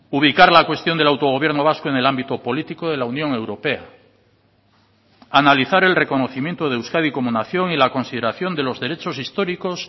ubicar la cuestión del autogobierno vasco en el ámbito político de la unión europea analizar el reconocimiento de euskadi como nación y la consideración de los derechos históricos